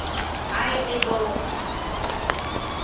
ай эгоу